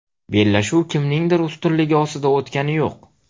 Bellashuv kimningdir ustunligi ostida o‘tgani yo‘q.